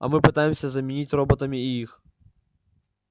а мы пытаемся заменить роботами и их